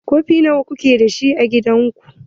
Kofi nawa kuke dashi a gidan ku?